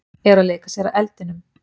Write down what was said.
Eru að leika sér að eldinum